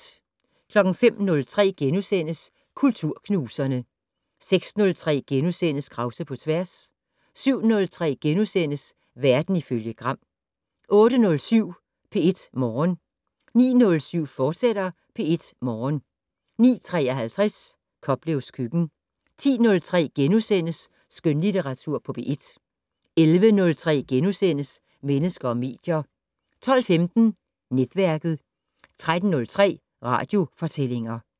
05:03: Kulturknuserne * 06:03: Krause på tværs * 07:03: Verden ifølge Gram * 08:07: P1 Morgen 09:07: P1 Morgen, fortsat 09:53: Koplevs køkken 10:03: Skønlitteratur på P1 * 11:03: Mennesker og medier * 12:15: Netværket 13:03: Radiofortællinger